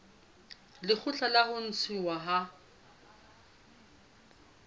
lekgotla la ho ntshuwa ha